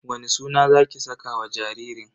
Wani suna zaki saka wa jaririn?